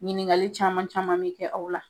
Ɲininkali caman caman bɛ kɛ aw la.